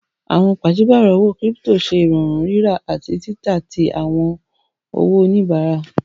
Awọn paṣipárọ̀ owó kírípítò ṣẹ irọ̀rún rírà ati tità tí awọn owó onínọ̀mbà.